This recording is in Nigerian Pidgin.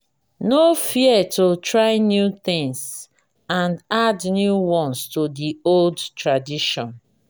no fear to try new things and add new ones to the old tradition